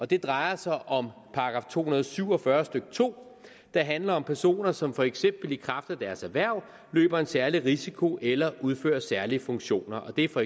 det drejer sig om § to hundrede og syv og fyrre stykke to der handler om personer som for eksempel i kraft af deres erhverv løber en særlig risiko eller udfører særlige funktioner og det er for